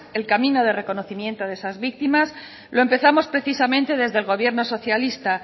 el camino de reconocimiento de esas víctimas lo empezamos precisamente desde el gobierno socialista